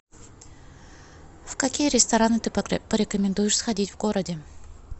в какие рестораны ты порекомендуешь сходить в городе